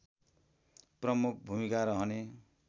प्रमुख भूमिका रहने